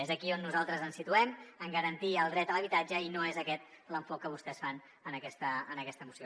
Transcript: és aquí on nosaltres ens situem en garantir el dret a l’habitatge i no és aquest l’enfocament que vostès fan en aquesta moció